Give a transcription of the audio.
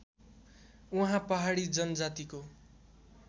उहाँ पहाडी जनजातिको